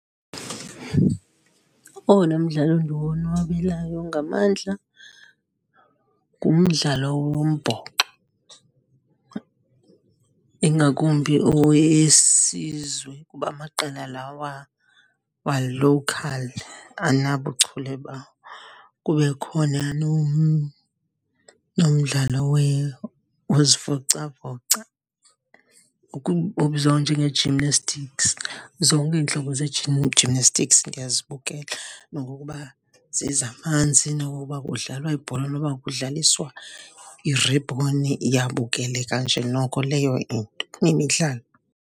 Owona mdlalo ndiwonwabelayo ngamandla ngumdlalo wombhoxo, ingakumbi owesizwe kuba amaqela lawa wa-local andinabuchule bawo. Kube khona nomdlalo wozivocavoca obizwa njenge-gymnastics. Zonke iintlobo gymnastics ndiyazibukela nokokuba zezamanzi, nokokuba kudlalwa ibhola, noba kudlaliswa iribhoni, iyabukeleka nje noko leyo into .